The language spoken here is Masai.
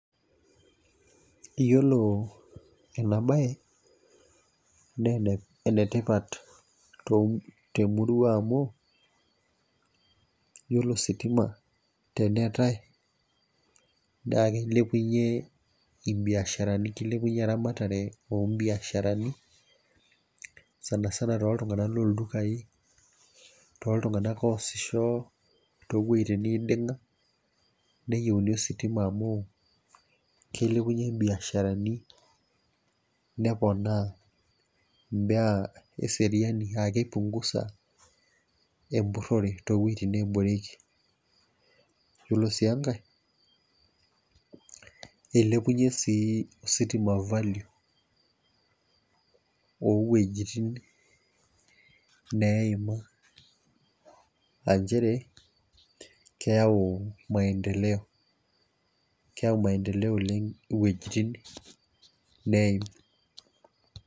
Iyiolo ena bae naa ene tipat te murua amu iyiolo ositima teneeta naa ikilepunye, ibiasharani. kilepunye eramatare oo biasharani, sanisana tooltunganak looldukai, tooltunganak loosisho. too wuejitin neidinga. neyieuni ositima amu ikilepunye biasharani. neponaa eseriani aa kipunguza empurore too wuejitin neesishoreki. iyiolo sii enkae eilepunye sii ositima value oo wuejitin, neima. aa nchere keyau maendeleo keyau maendeleo oleng iwuejitin. neeim.